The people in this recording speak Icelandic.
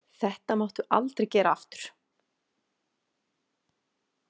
Þetta máttu aldrei gera aftur!